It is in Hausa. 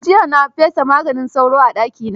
Jiya na fesa maganin sauro a dakina.